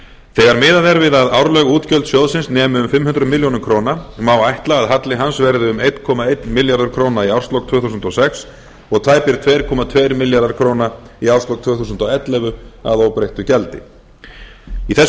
þegar miðað er við að árleg útgjöld sjóðsins nemi um fimm hundruð milljóna króna má ætla að halli hans verði um einn komma einn milljarður króna í árslok tvö þúsund og sex og tæpir tveir komma tveir milljarðar króna í árslok tvö þúsund og ellefu að óbreyttu gjaldi í þessu